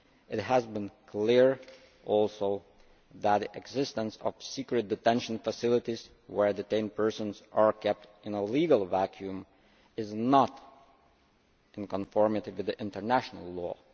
It has been clear also that the existence of secret detention facilities where detained persons are kept in a legal vacuum is not in conformity with international law.